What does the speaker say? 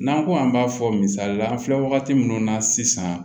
N'an ko an b'a fɔ misalila an filɛ wagati min na sisan